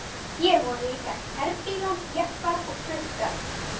Hér voru líka herbílar, jeppar og trukkar.